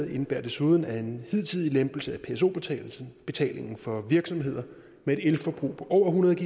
indebærer desuden at en hidtidig lempelse af pso betalingen for virksomheder med et elforbrug på over hundrede